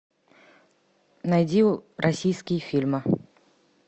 найди российские фильмы